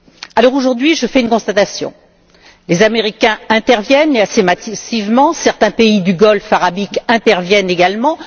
Alors, aujourd'hui, je fais une constatation les Américains interviennent, et assez massivement, certains pays de la péninsule Arabique interviennent également.